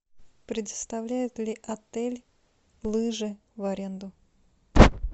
предоставляет ли отель лыжи в аренду